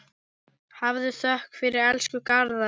Hafðu þökk fyrir, elsku Garðar.